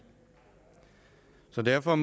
så derfor